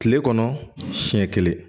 Kile kɔnɔ siɲɛ kelen